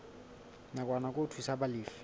nakwana ke ho thusa balefi